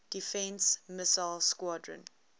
defense missile squadron